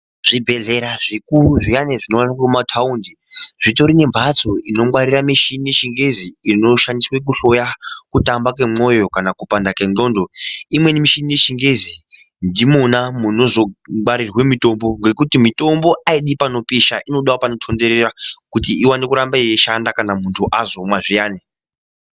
Zvibhedhlera zvikuru zviyane zvinowanikwa mumathawundi zvitori nembatso inongwarira michini yechingezi, inoshandiswe kuhloya kutamba kwemwoyo kana kupanda kwengxondo. Imweni michini yechingezi, ndimona munozongwarirwe mitombo ngekuti mitombo ayidi panopisha, inodawo panotondorera, kuti iwane kuramba eyishanda kana muntu azomwa zviyane.